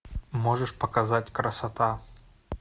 можешь показать красота